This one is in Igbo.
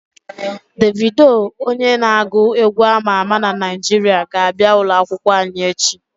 Devido onye n'agu egwu ama ama na Naijiria ga-abia ulo akwukwo anyi echi